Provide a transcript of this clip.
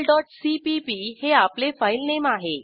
multipleसीपीपी हे आपले फाईलनेम आहे